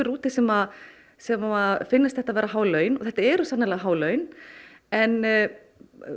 úti sem sem finnast þetta há laun og þetta eru sennilega há laun en